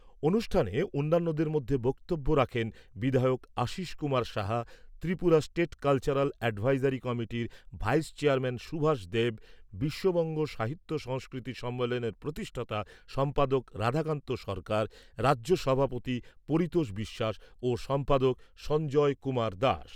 অনুষ্ঠানে অন্যান্যদের মধ্যে বক্তব্য রাখেন, বিধায়ক Ashish Kumar Saha, Tripura state cultural advisory কমিটির ভাইস চেয়ারম্যান সুভাষ দেব, বিশ্ববঙ্গ সাহিত্য সংস্কৃতি সম্মেলনের প্রতিষ্ঠাতা সম্পাদক রাধাকান্ত সরকার, রাজ্য সভাপতি পরিতোষ বিশ্বাস ও সম্পাদক সঞ্জয় কুমার দাস।